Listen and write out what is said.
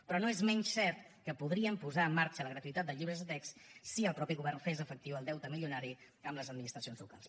però no és menys cert que podríem posar en marxa la gratuïtat de llibres de text si el mateix govern fes efectiu el deute milionari amb les administracions locals